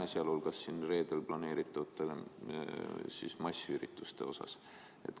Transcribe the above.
Pean sealhulgas silmas ka reedeks planeeritud massiüritusi.